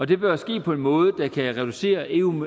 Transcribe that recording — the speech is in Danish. det bør ske på en måde der kan reducere eu